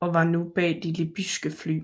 og var nu bag de libyske fly